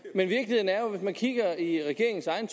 at hvis man kigger i regeringens egen